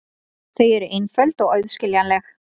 Þau eru einföld og auðskiljanleg.